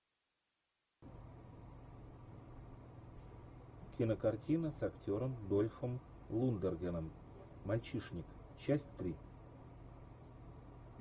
кинокартина с актером дольфом лундгреном мальчишник часть три